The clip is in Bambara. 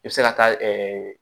I bɛ se ka taa